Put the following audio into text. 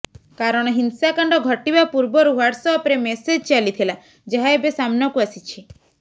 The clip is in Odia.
କାରଣ ହିଂସାକାଣ୍ଡ ଘଟିବା ପୂର୍ବରୁ ହ୍ୱାଟ୍ସ୍ ଅପରେ ମେସେଜ୍ ଚାଲିଥିଲା ଯାହା ଏବେ ସାମ୍ନାକୁ ଆସିଛି